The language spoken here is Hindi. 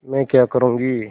मैं क्या करूँगी